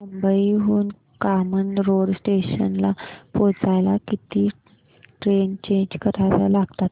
मुंबई हून कामन रोड स्टेशनला पोहचायला किती ट्रेन चेंज कराव्या लागतात